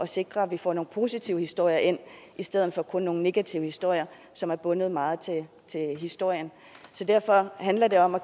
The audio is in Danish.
sikre at vi får nogle positive historier ind i stedet for kun nogle negative historier som er bundet meget til historien så derfor handler det om at